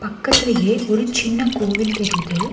பக்கத்திலேயே ஒரு சின்ன கோவில் தெரிது.